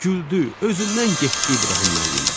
Güldü, özündən getdi İbrahim müəllim.